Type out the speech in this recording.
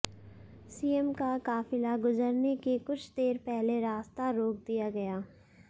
CM का काफिला गुजरने के कुछ देर पहले रास्ता रोक दिया गया